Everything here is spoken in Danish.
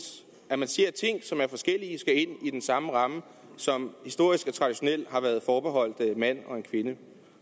at man siger at ting som er forskellige skal ind i den samme ramme som historisk traditionelt har været forbeholdt en mand og en kvinde